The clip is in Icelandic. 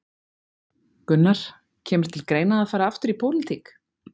Gunnar: Kemur til greina að fara aftur í pólitík?